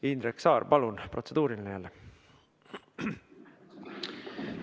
Indrek Saar, palun, protseduuriline jälle!